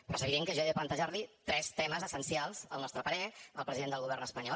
però és evident que jo he de plantejar li tres temes essencials al nostre parer al president del govern espanyol